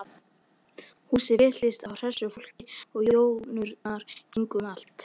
Húsið fylltist af hressu fólki og jónurnar gengu um allt.